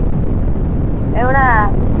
എവിടെ?